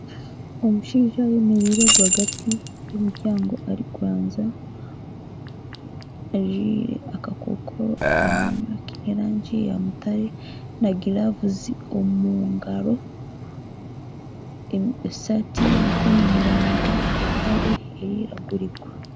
Omushaija ayemereire rwaagati y'omuryango arikuranzya ajwaire akakokoro k'erangi ya mutare, na gilavu omu ngaro esaati ey'emikono miraingwa empare erikwiragura